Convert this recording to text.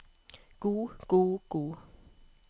god god god